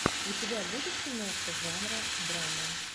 у тебя будет киношка жанра драма